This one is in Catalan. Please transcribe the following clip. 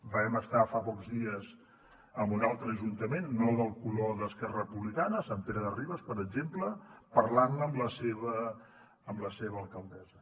vam estar fa pocs dies en un altre ajuntament no del color d’esquerra republicana sant pere de ribes per exemple parlant ne amb la seva alcaldessa